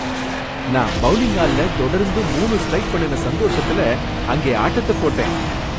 நான் பவுலிங் ஆலில தொடர்ந்து மூணு ஸ்ட்ரைக் பண்ணுன சந்தோஷத்துல அங்கே ஆட்டத்த போட்டேன்.